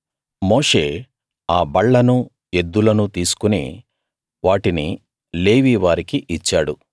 మోషే ఆ బళ్లనూ ఎద్దులను తీసుకుని వాటిని లేవీ వారికి ఇచ్చాడు